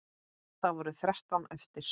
Það voru þrettán eftir!